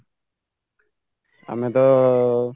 ଆମେତ